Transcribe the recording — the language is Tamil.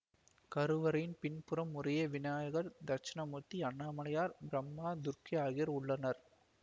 கருவறையின் பின்புறம் முறையே விநாயகர் தெட்சிணாமூர்த்தி அண்ணாமலையார் பிரம்மா துர்க்கை ஆகியோர் உள்ளனர்